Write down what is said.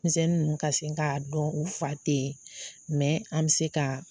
Denmisɛnnin ninnu ka se k'a dɔn u fa tɛ yen mɛ an bɛ se ka